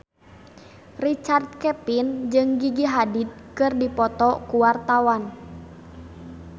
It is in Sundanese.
Richard Kevin jeung Gigi Hadid keur dipoto ku wartawan